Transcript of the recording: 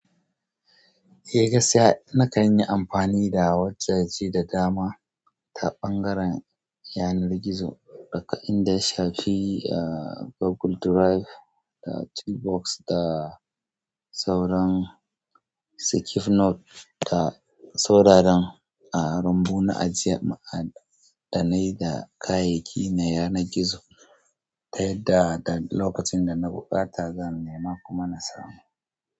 Eh gaskiya, na kan yi amfani da WhatsApp ji da dama, ta ɓangaren yanar gizo. Daga inda ya shafi a, Google Drive da Toolbox da, sauran SecureNote da sauraran, a rumbu na ajiye ma'adanai da kayayyaki na yanan gizo, ta yadda da lokacin da na buƙata zan nema kuma na samu.